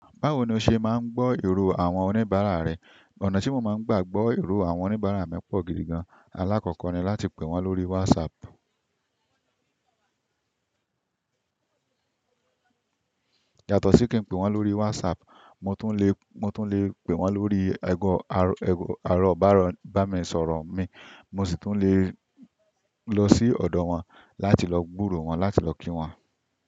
Báwo ni o ṣe máa ń gbọ́ èrò àwọn oníbàárà rẹ? Ọ̀nà tí mo máa ń gbà gbọ́ èrò àwọn oníbàárà mi pọ̀ gidi gan-an. Alákọ́kọ́ ni láti pè wọ́n lórí WhatsApp. Yàtọ̀ sí kí n pè wọ́n lórí WhatsApp, mo tún lè, mo tún lè pè wọ́n lórí ẹ̀gọ́, ẹ̀gọ́, àárọ̀ bá mi sọ̀rọ̀ mi. Mo sì tún lè lọ sí ọ̀dọ̀ wọn láti lọ gbúro wọn, láti lọ kí wọn.